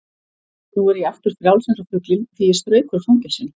Nú er ég aftur frjáls eins og fuglinn því ég strauk úr fangelsinu.